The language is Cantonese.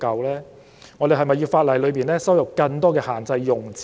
是否有必要在法例加入更多限制用詞？